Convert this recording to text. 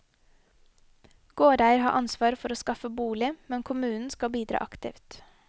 Gårdeier har ansvar for å skaffe bolig, men kommunen skal bidra aktivt.